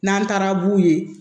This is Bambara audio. N'an taara b'u ye